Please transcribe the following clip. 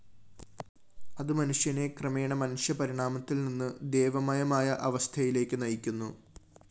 അത് മനുഷ്യനെ ക്രമേണ മനുഷ്യപരിണാമത്തില്‍നിന്ന് ദേവമയമായ അവസ്ഥയിലേക്ക് നയിക്കുന്നു